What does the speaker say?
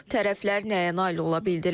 Tərəflər nəyə nail ola bildilər?